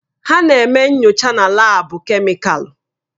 Ha na-eme nyocha na laabu kemịkalụ.